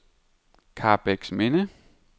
Karrebæksminde